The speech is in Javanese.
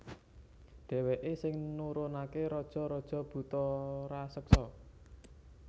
Dhèwèké sing nurunaké raja raja buta raseksa